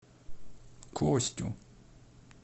костю